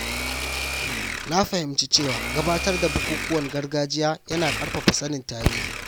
Na fahimci cewa gabatar da bukukuwan gargajiya yana ƙarfafa sanin tarihi.